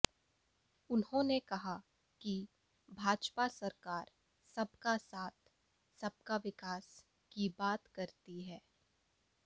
उन्होंने कहा कि भाजपा सरकार सबका साथ सबका विकास की बात करती है